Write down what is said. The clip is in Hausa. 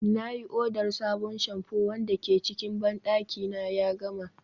na yi odar sabon shamfu wanda ke cikin bandaki na ya gama